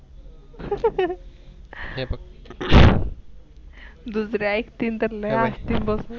दूसरे आईक्तील तर लई हसतील बग.